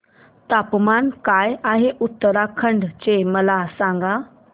तापमान काय आहे उत्तराखंड चे मला सांगा